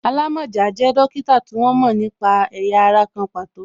Alamọja jẹ dókítà tí wọ́n mo nípa ẹ̀yà ara kan pàtó